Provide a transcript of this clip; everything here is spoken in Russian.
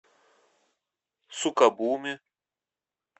сукабуми